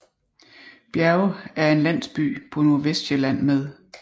Bjerge er en landsby på Nordvestsjælland med